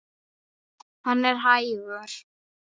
Hann er hægur.